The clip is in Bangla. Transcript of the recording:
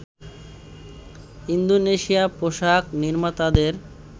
ইন্দোনেশিয়া পোশাক নির্মাতাদের